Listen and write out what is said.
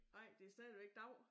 Nej det stadigvæk dag